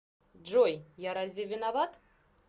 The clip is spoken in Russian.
джой я разве виноват